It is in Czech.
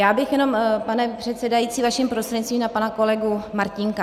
Já bych jenom, pane předsedající, vaším prostřednictvím na pana kolegu Martínka.